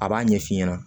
A b'a ɲɛ f'i ɲɛna